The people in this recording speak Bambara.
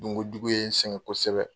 Dunkojugu ye n sɛgɛn kosɛbɛ.